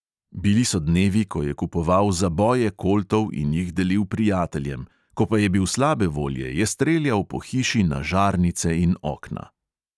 Bili so dnevi, ko je kupoval zaboje koltov in jih delil prijateljem, ko pa je bil slabe volje, je streljal po hiši na žarnice in okna.